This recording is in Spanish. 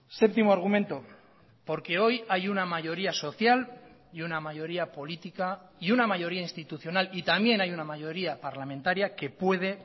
séptimo argumento porque hoy hay una mayoría social y una mayoría política y una mayoría institucional y también hay una mayoría parlamentaria que puede